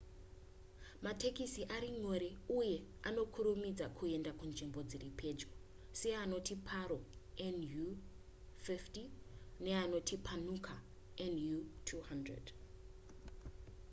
matekisi ari nyore uye anokurumidza kuenda kunzvimbo dziri pedyo seanoti paro nu 150 uye punakha nu 200